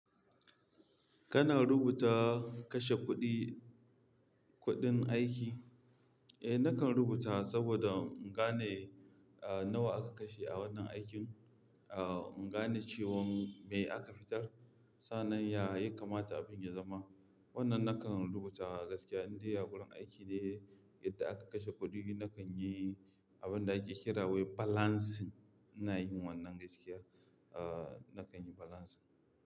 Kana rubuta kashe kuɗi, kuɗin aiki? Eh, nakan rubuta saboda in gane, ah, nawa aka kashe a wannan aikin, ah, in gane cewan me aka fitar. Sannan, ya, ya kamata abin ya zama. Wannan nakan rubuta gaskiya, in dai a wurin aiki ne, yadda aka kashe kuɗi, nakan yi abin da ake kira wai balancing. Ina yin wannan gaskiya. Ah, nakan yi balancing.